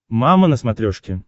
мама на смотрешке